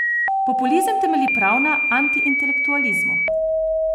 Populizem temelji prav na antiintelektualizmu.